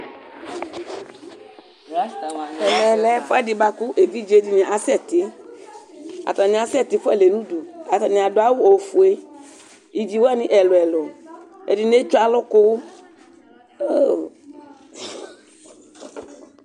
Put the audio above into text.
evidze dɩnɩ asɛti nʊ ɛmɛ, atanɩ asɛtɩ fualɛ nʊ udu, atanɩ adʊ awu ofue, iviwanɩ ɛluɛlʊ, ɛdɩnɩ etso alʊkʊ